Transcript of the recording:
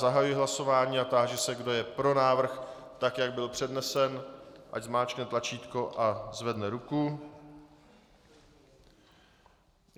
Zahajuji hlasování a táži se, kdo je pro návrh, tak jak byl přednesen, ať zmáčkne tlačítko a zvedne ruku.